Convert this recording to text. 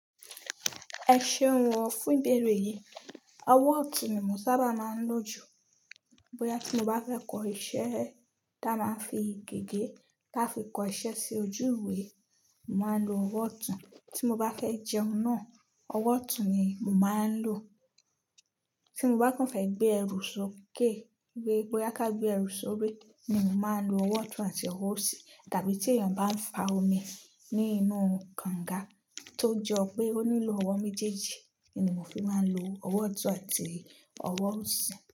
Ẹ ṣeun o fún ìbéèrè yìí. Ọwọ́ ọ̀tún ni mo sábà máa ń lò jù. Bóyá tí mo bá fẹ́ kọ iṣẹ́ tí a máa ń fi gègé láti fi kọ iṣẹ́ sí ojú ìwé, màá lo ọwọ́ ọ̀tún. Tí mo bá fẹ́ jẹun náà, ọwọ́ ọ̀tún ni mo máa ń lò. Tí mo bá kàn fẹ́ gbé ẹrù sókè, wípé bóyá ká gbé ẹrù sórí, ni màá lo ọwọ́ ọ̀tún àti ọwọ́ òsì. Tàbí tí èèyàn bá ń fa omi ní inú kànga tó jọ pé ó nílò ọwọ́ méjèèjì, ni mo fi máa ń lo ọwọ́ ọ̀tún àti ọwọ́ òsì.